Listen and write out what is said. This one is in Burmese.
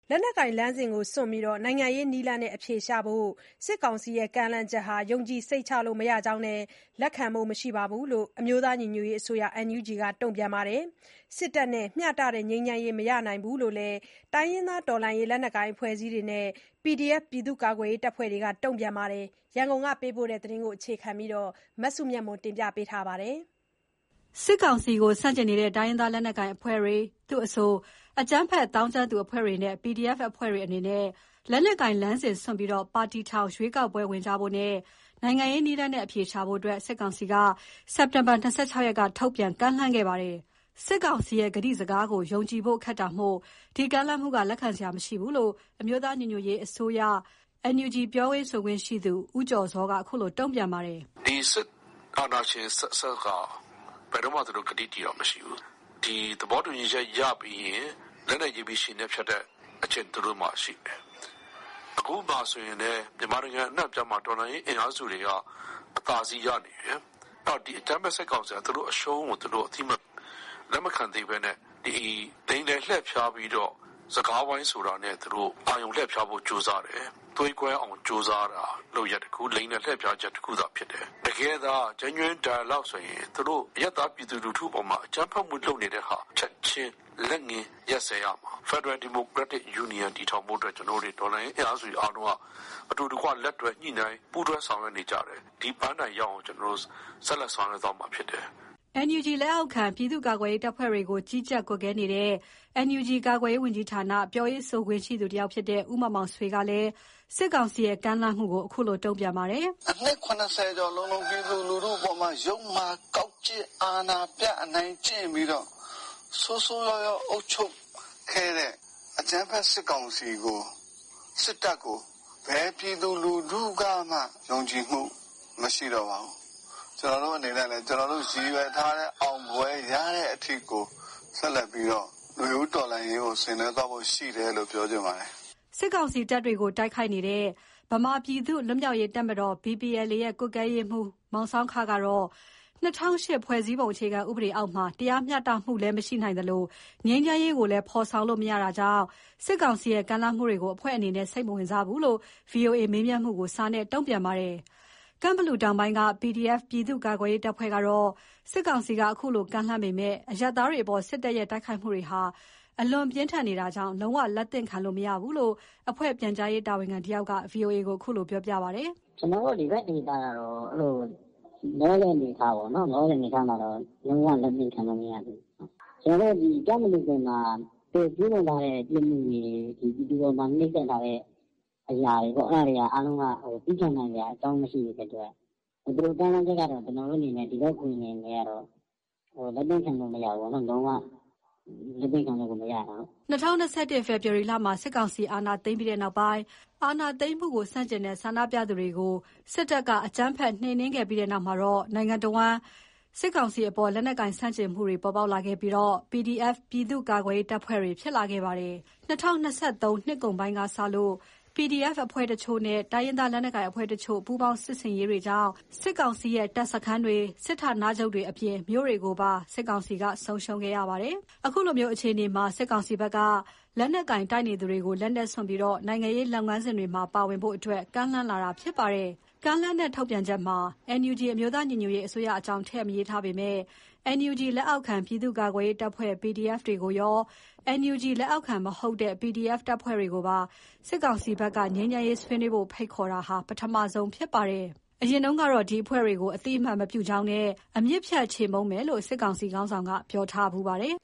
လက်နက်ကိုင်လမ်းစဉ်ကို စွန့်ပြီး နိုင်ငံရေးနည်းနဲ့ အဖြေရှာဖို့ စစ်ကောင်စီရဲ့ ကမ်းလှမ်းချက်ဟာ ယုံကြည်စိတ်ချလို့ မရတဲ့အကြောင်းနဲ့ လက်ခံဖို့ မရှိတဲ့အကြောင်း အမျိုးသားညီညွတ်ရေးအစိုးရ NUG က တုံ့ပြန်ပါတယ်။ စစ်တပ်နဲ့ မျှတတဲ့ ငြိမ်းချမ်း မရနိုင်ဘူးလို့ တိုင်းရင်းသား တော်လှန်ရေး လက်နက်ကိုင်အဖွဲ့အစည်းတွေနဲ့ PDF ပြည်သူ့ကာကွယ်ရေးတပ်ဖွဲ့တွေ ဘက်ကလည်း တုံ့ပြန်နေတဲ့အကြောင်း ရန်ကုန်ကပေးပို့တဲ့သတင်းကို အခြေခံပြီး တင်ပြထားပါတယ်။ စစ်ကောင်စီကို ဆန့်ကျင်နေတဲ့ တိုင်းရင်းသားလက်နက်ကိုင်အဖွဲ့တွေ၊ သူ့အဆို အကြမ်းဖက် သောင်းကျန်းသူအဖွဲ့တွေနဲ့ PDF အဖွဲ့တွေအနေနဲ့ လက်နက်ကိုင် လမ်းစဉ်စွန့်ပြီး ပါတီထောင်၊ ရွေးကောက်ပွဲဝင်ကြဖို့နဲ့ နိုင်ငံရေးနည်းလမ်းနဲ့ အဖြေရှာဖို့ စစ်ကောင်စီက စက်တင်ဘာ ၂၆ ရက်က ထုတ်ပြန်ကမ်းလှမ်းခဲ့ပါတယ်။ စစ်ကောင်စီရဲ့ကတိစကားကိုယုံကြည်ဖို့ခက်တာမို့ ဒီကမ်းလှမ်းမှုက လက်ခံနိုင်စရာ မရှိဘူးလို့ အမျိုးသားညီညွတ်ရေးအစိုးရ NUG ပြောရေးဆိုခွင့်ရှိသူ ဦးကျော်ဇော်က အခုလိုတုံ့ပြန်ပါတယ်။ "စစ်အာဏာရှင်အဆက်ဆက်က ဘယ်တုန်းကမှကတိတည်တာမရှိဘူး။ သူတို့နဲ့သဘောတူညီချက်ရပြီးရင်လက်နဲ့ရေးပြီးခြေနဲ့ဖျက်တဲ့ အကျင့်သူတို့မှာရှိတယ်။ ခုဆိုလည်းမြန်မာနိုင်ငံအနှံမှာတော်လှန်ရေးအင်အားစုတွေကအသာစီးရနေတယ်။ စစ်ကောင်စီကသူတို့အရှုံးကိုလက်မခံသေးဘဲနဲ့ လိမ်လည်လှည့်ဖျားပြီးတော့ စ ကားဝိုင်းဆိုတာနဲ့သူတို့ အာရုဲလှည့်ဖို့ကြိုးစားတယ်။ သွေးကွဲအောင် လုပ်ပြီးလိမ်လည်လှည့်ဖျားချက်တခုသာဖြစ်တယ်။ တကယ်သာနိုင်ငံရေးဆွေးနွေးမယ်ဆို သူတို့အရပ်သားပြည်သူတွေအပေါ်မှာ အကြမ်းဖက်မှု လုပ်နေတာကို ချက်ချင်းလက်ငင်း ရပ်စဲရမှာဖြစ်ပါတယ်။ ဖက်ဒရယ်ဒီမိုကရက်တစ်ယူနီယံတည်ထောင်ဖို့ တော်လှန်ရေးအင်အားစုတွေ ကြိုးစားနေကြတာဖြစ်တယ်။ ဒီပန်းတိုင်ရောက်အောင် ဆက်လက်ဆောင်ရွက်သွားမှာပါ" NUG လက်အောက်ခံ ပြည်သူ့ကာကွယ်ရေးတပ်ဖွဲ့တွေကို ကြီးကြပ် ကွပ်ကဲနေတဲ့ NUG ကာကွယ်ရေးဝန်ကြီးဌာန၊ ပြောရေးဆိုခွင့်ရှိသူ တဦးဖြစ်တဲ့ ဦးမောင်မောင်ဆွေကလည်း စစ်ကောင်စီရဲ့ကမ်းလှမ်းမှုအပေါ် အခုလို တုံ့ပြန်ပါတယ်။ "အနှစ် ၇၀ လုံးလုံး ပြည်သူအပေါ် ယုတ်မာကောက်ကျစ် အနိုင်ကျင့် ပြည်သူအပေါ်ဆိုးဆိုးဝါးဝါးအုပ်ချုပ်ခဲ့တဲ့ အကြမ်းဖက်စစ်ကောင်စီစစ်တပ်ကို ဘယ်ပြည်သူကမှ ယုံကြည်မှုမရှိတော့ပါဘူး။ ကျနော်တို့အနေနဲ့ကျနော်တို့ရည်ရွယ်ထားတဲ့ အောင်ပွဲရတဲ့အထိကို ဆက်လက်ပြီးတော့ နွေဦးတော်လှန်ရေးကိုဆင်နွှဲသွားဖို့ရှိတယ် လို့ပြောချင်ပါတယ်။" စစ်ကောင်စီတပ်တွေကို တိုက်ခိုက်နေတဲ့ ဗမာပြည်သူ့လွတ်မြောက်ရေးတပ်တော် (BPLA) ရဲ့ ကွပ်ကဲရေးမှူး မောင်ဆောင်းခကတော့ ၂၀၀၈ ဖွဲ့စည်းပုံ အခြေခံဥပဒေအောက်မှာ တရားမျှတမှု လည်းမရှိနိုင်သလို ငြိမ်းချမ်းရေးကိုလည်းဖော်ဆောင်လို့မရနိုင်တာမို့ စစ်ကောင်စီရဲ့ ကမ်းလှမ်းမှုကို အဖွဲ့ အနေနဲ့ စိတ်မဝင်စားဘူးလို့ ဗွီအိုအေ မေးမြန်းမှုကို စာနဲ့ တုံ့ပြန်ခဲ့ပါတယ်။ ကန့်ဘလူတောင်ပိုင်း PDF ပြည်သူ့ကာကွယ်ရေးတပ်ဖွဲ့ကတော့ စစ်ကောင်စီက အခုလို ကမ်းလှမ်းပေမဲ့ အရပ်သားတွေအပေါ် စစ်တပ်ရဲ့ တိုက်ခိုက်မှုတွေဟာ အလွန်ပြင်းထန်နေတာကြောင့် လုံး၀ လက်သင့်ခံလို့ မရဘူးလို့ အဖွဲ့ ပြန်ကြားရေးတာဝန်ခံတဦးက ဗွီအိုအေကို ခုလိုပြောပြပါတယ်။ "ကျနော်တို့ဒီဘက်ဒေသကတော့ လောလောဆယ်အနေအထားမှာတော့လုံးဝလက်သင့်ခံလို့မရသေးဘူး။ ကန့်ဘလူမှာသူတို့ကျူးလွန်ထားတဲ့ပြစ်မှုတွေ ပြည်သူ အပေါ်မှာနှိပ်စက်ထားတာတွေ အဲဒါတွေကသည်းခံနိုင်စရာအကြောင်းမရှိဘူး။ သူတို့ကမ်းလှမ်းတာကိုဒီဘက်ဂွင်အနေနဲ့ လက်သင့်ခံလို့မရဘူးလုံးဝလက်သင့်ခံ လို့မရဘူး။" ၂၀၂၁ ဖေဖော်ဝါရီမှာ စစ်ကောင်စီ အာဏာသိမ်းပြီးနောက် အာဏာ သိမ်းမှုဆန့်ကျင်တဲ့ ဆန္ဒပြမှုတွေကို စစ်တပ်ကအကြမ်းဖက်နှိမ်နင်းခဲ့ပြီးနောက်မှာ နိုင်ငံတဝန်း စစ်ကောင်စီအပေါ် လက်နက်ကိုင် ဆန့်ကျင်မှုတွေ ပေါ်လာခဲ့ပြီး PDF ပြည်သူ ကာကွယ် ရေးတပ်ဖွဲ့တွေ ဖြစ်လာခဲ့ပါတယ်။ ၂၀၂၃ နှစ်ကုန်ပိုင်းကစလို့ PDF အဖွဲ့တချို့နဲ့ တိုင်းရင်းသားလက်ကိုင်အဖွဲ့တချို့ ပူးပေါင်းစစ်ဆင်ရေးတွေကြောင့် စစ်ကောင်စီရဲ့ တပ်စခန်းတွေ၊ စစ်ဌာနချုပ်တွေအပြင် မြို့တွေကိုပါ စစ်ကောင်စီက ဆုံးရှုံးခဲ့ပါတယ်။ အခုလို အခြေအနေမှာ စစ်ကောင်စီကို လက်နက်ကိုင်တိုက်နေသူတွေကို လက်နက်စွန်ပြီး နိုင်ငံရေးလုပ်ငန်းစဉ်တွေမှာ ပါဝင်ဖို့ စစ်ကောင်စီဘက်က ကမ်းလှမ်းလာတာဖြစ်ပါတယ်။ ကမ်းလှမ်းတဲ့ ထုတ်ပြန်ချက်မှာ NUB အမျိုးသားညီညွတ်ရေး အစိုးရအကြောင်းထည့်မထားပေမဲ့ NUG လက်အောက်ခံ ပြည်သူ့ကာကွယ်ရေးတပ်ဖွဲ့ (PDF) တွေကိုရော NUG လက်အောက်ခံမဟုတ်တဲ့ PDF တပ်ဖွဲ့တွေပါ စစ်ကောင်စီဘက်က ငြိမ်းချမ်းရေးဆွေးနွေးဖို့ ဖိတ်ခေါ်တာဟာ ပထမဆုံးဖြစ်ပါတယ်။ အရင်ကတော့ ဒီအဖွဲ့တွေကို အသိအမှတ် မပြုကြောင်းနဲ့ အမြစ်ဖြတ်ချေမှုန်းမယ်လို့ စစ်ကောင်စီခေါင်းဆောင်က ပြောထားဖူးပါတယ်